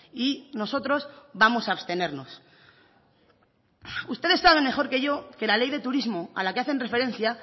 y nosotros vamos a abstenernos ustedes saben mejor que yo que la ley de turismo a la que hacen referencia